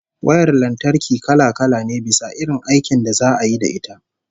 Wayar lantarki kala-kala ne, bisa irin aikin da za'a yi da ita